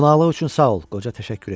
Qonaqlıq üçün sağ ol, qoca təşəkkür etdi.